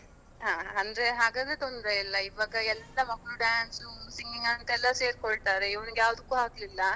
ಹಾ, ಅಂದ್ರೆ ಹಾಗಾದ್ರೆ ತೊಂದ್ರೆ ಇಲ್ಲ ಈವಾಗ ಎಲ್ಲ ಮಕ್ಕಳು dance, singing ಗಂತ ಎಲ್ಲ ಸೇರ್ಕೊಳ್ತಾರೆ, ಇವನ್ಗೆ ಯಾವುದಕ್ಕೂ ಹಾಕ್ಲಿಲ್ಲ.